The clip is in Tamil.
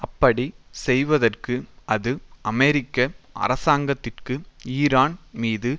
அப்படி செய்வதற்கு அது அமெரிக்க அரசாங்கத்திற்கு ஈரான் மீது